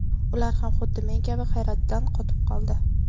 Ular ham xuddi men kabi hayratdan qotib qoldi.